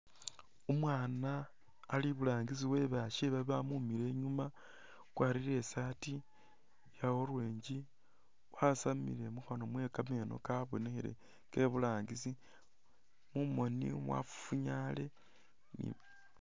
Umwaana ali iburangisi we basye bamumile inyuma, wakwarire i'saati iya orange, kgasamile mukhanwa mwe kameeno kabonekhile ke iburangisi, mumoni mwafufunyale.